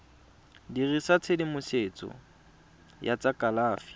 dirisa tshedimosetso ya tsa kalafi